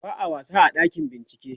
ba'a wasa a ɗakin bincike